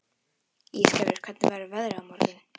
Ísgerður, hvernig verður veðrið á morgun?